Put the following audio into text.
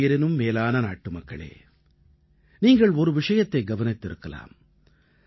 என் உயிரினும் மேலான நாட்டுமக்களே நீங்கள் ஒரு விஷயத்தை கவனித்திருக்கலாம்